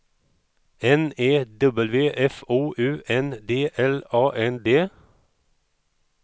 N E W F O U N D L A N D